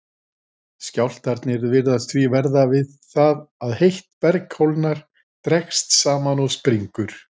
Skjálftarnir virðast því verða við það að heitt berg kólnar, dregst saman og springur.